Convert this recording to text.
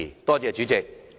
多謝主席。